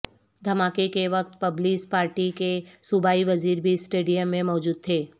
دھماکے کے وقت پیپلز پارٹی کے صوبائی وزیر بھی سٹیڈیم میں موجود تھے